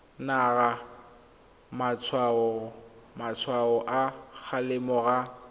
naya matshwao a kgalemo ga